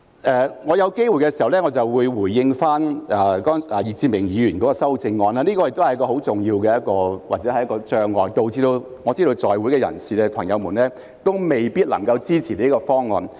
稍後如有機會，我會回應易志明議員的修正案，這亦是一個很重要的障礙，令在席議員未必能夠支持這個方案。